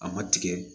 A ma tigɛ